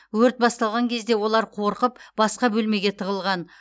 өрт басталған кезде олар қорқып басқа бөлмеге тығылған